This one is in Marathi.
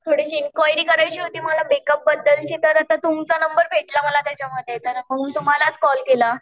थोडीशी इन्क्वायरी करायची होती मला मेकअप बद्दलची तर आता तुमचा नंबर भेटला मला त्याच्यामध्ये म्हणून तुम्हालाच कॉल केलं.